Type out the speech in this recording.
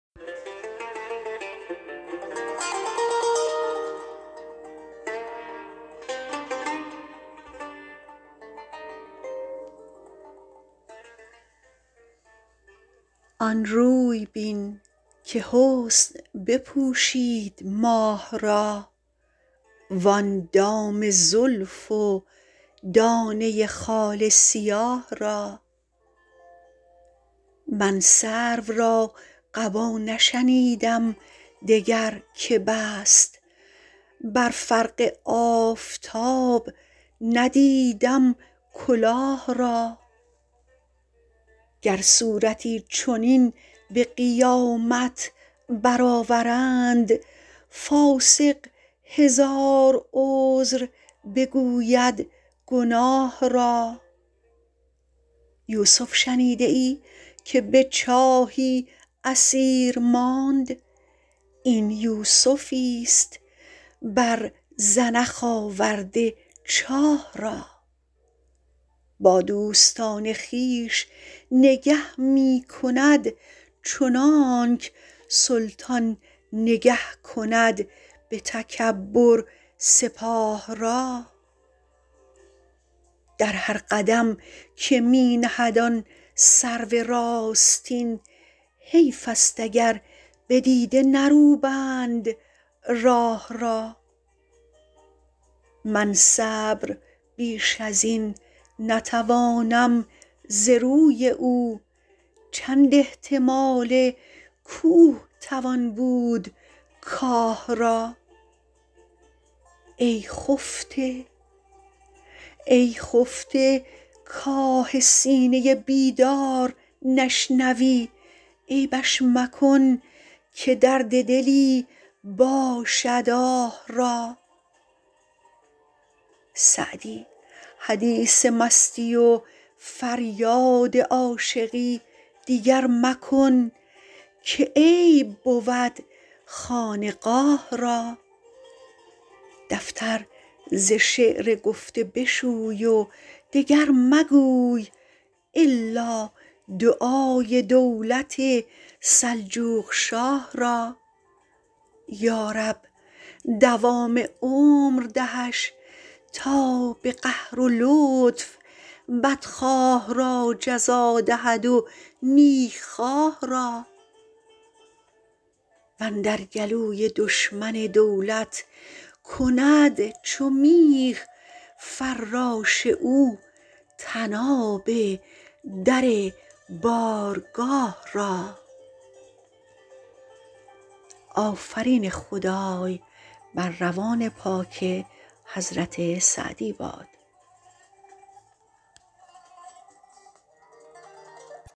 آن روی بین که حسن بپوشید ماه را وآن دام زلف و دانه خال سیاه را من سرو را قبا نشنیدم دگر که بست بر فرق آفتاب ندیدم کلاه را گر صورتی چنین به قیامت برآورند فاسق هزار عذر بگوید گناه را یوسف شنیده ای که به چاهی اسیر ماند این یوسفیست بر زنخ آورده چاه را با دوستان خویش نگه می کند چنانک سلطان نگه کند به تکبر سپاه را در هر قدم که می نهد آن سرو راستین حیف است اگر به دیده نروبند راه را من صبر بیش از این نتوانم ز روی او چند احتمال کوه توان بود کاه را ای خفته کآه سینه بیدار نشنوی عیبش مکن که درد دلی باشد آه را سعدی حدیث مستی و فریاد عاشقی دیگر مکن که عیب بود خانقاه را دفتر ز شعر گفته بشوی و دگر مگوی الا دعای دولت سلجوقشاه را یارب دوام عمر دهش تا به قهر و لطف بدخواه را جزا دهد و نیکخواه را واندر گلوی دشمن دولت کند چو میخ فراش او طناب در بارگاه را